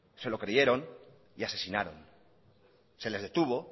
se lo creyeron y asesinaron se les detuvo